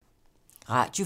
Radio 4